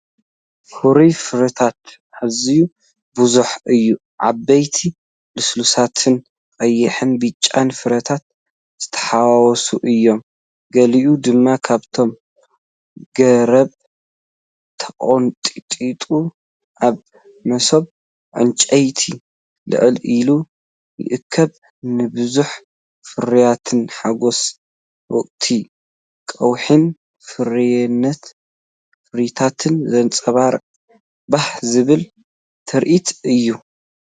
ፍሩይ ፍረታት ኣዝዩ ብዙሕ እዩ። ዓበይትን ልስሉሳትን ቀይሕን ብጫን ፍረታት ዝተሓዋወሰን እዮም። ገሊኡ ድማ ካብቲ ገረብ ተቐንጢጡ ኣብ መሶብ ዕንጨይቲ ልዕል ኢሉ ይእከብ። ንብዝሒ ፍርያትን ሓጐስ ወቕቲ ቀውዒን ፍሩይነት ፍረታትን ዘንጸባርቕ ባህ ዘብል ትርኢት እዩ።